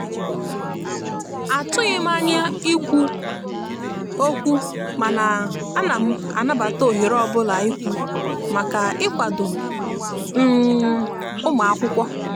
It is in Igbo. a tughim anya ikwụ okwụmana anam anabata ohere ọbụla ikwù maka ikwado um ụmụakwụkwọ.